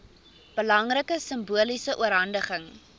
belangrike simboliese oorhandiging